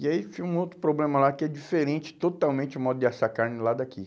E aí tem um outro problema lá que é diferente totalmente o modo de assar carne lá daqui.